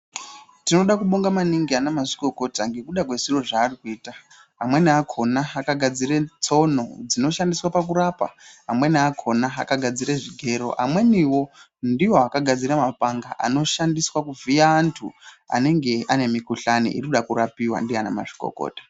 Tinoda kubonga maningi ana mazvikokota ngekuda kwezviro zvaari kuita, amweni akona akagadzire tsono dzinoshandiswa pakurapa, amweni akona akagadzire zvigero, amweniwo ndiwo akagadzire mapanga anoshandiswa kuvhiya antu anenge ane mikhuhlani iri kuda kurapiwa ndiana mazvikokota.